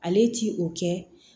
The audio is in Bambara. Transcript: Ale ti o kɛ